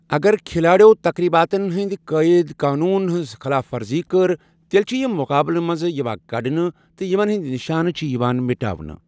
اگر کھلاڑٮ۪و تقریٖباتن ہٕنٛدۍ قٲیدٕ قونوٗنن ہٕنٛز خلاف ورزی کٔر، تیٚلہِ چھِ یِم مُقابلہٕ منٛز یِوان کڑنہٕ تہٕ یِمن ہٕنٛدۍ نشانہٕ چھِ یِوان مٹاونہٕ۔